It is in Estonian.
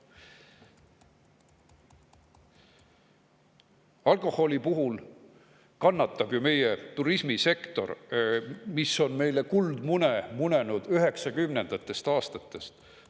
Alkoholi puhul kannatab meie turismisektor, mis on meile kuldmune munenud 90‑ndatest aastatest.